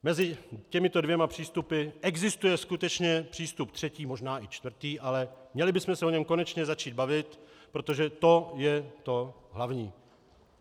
Mezi těmito dvěma přístupy existuje skutečně přístup třetí, možná i čtvrtý, ale měli bychom se o něm konečně začít bavit, protože to je to hlavní.